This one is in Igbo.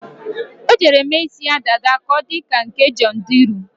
O jere mee ísí ya dada ka ọ dị ka nke Jọnị Drịlụ.